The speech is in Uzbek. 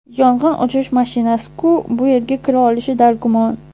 Yong‘in o‘chirish mashinasi-ku, bu yerga kira olishi dargumon.